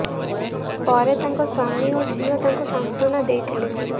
ପରେ ତାଙ୍କ ସ୍ବାମୀ ଓ ଝିଅ ତାଙ୍କୁ ସାନ୍ତ୍ବନା ଦେଇଥିଲେ